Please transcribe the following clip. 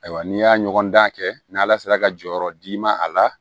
Ayiwa n'i y'a ɲɔgɔn dan kɛ n'ala sera ka jɔyɔrɔ d'i ma a la